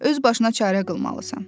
Öz başına çarə qılmalısan.